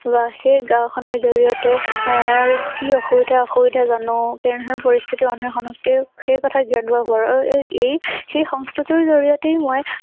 বা সেই গাওঁ খনৰ জৰিয়তে এ কি অসুবিধা অসুবিধা জানো কেনেধৰণৰ পৰিস্থিতি মানুহে সন্মুখীন হেই কথা আৰু এ এই সেই সংস্থা তোৰ জৰিয়তেই মই